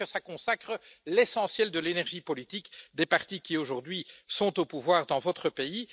On dirait que cela absorbe l'essentiel de l'énergie politique des partis qui aujourd'hui sont au pouvoir dans votre pays.